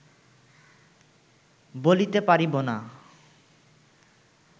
বলিতে পারিব না